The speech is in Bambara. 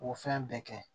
K'o fɛn bɛɛ kɛ